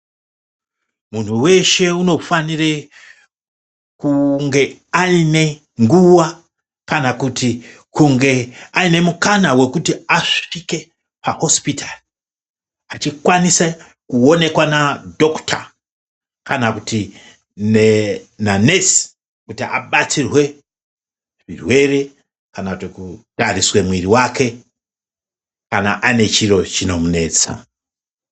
Muntu weshe unofanire kunge aine nguva kana kuti kunge aine mukana wekuti asvike pahosipitari achikwanise kuonekwa na dhokota kana kuti na nesi kuti abatsirwe zvirwere kana kuti kutariswe muviri wake kana ane chiro chinomunesa.